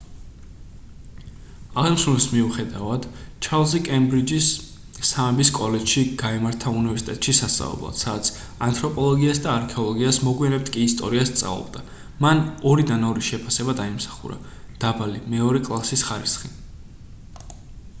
აღნიშნულის მიუხედავად ჩარლზი კემბრიჯის სამების კოლეჯში გაემართა უნივერსიტეტში სასწავლებლად სადაც ანთროპოლოგიას და არქეოლოგიას მოგვიანებით კი ისტორიას სწავლობდა მან 2:2 შეფასება დაიმსახურა დაბალი მეორე კლასის ხარისხი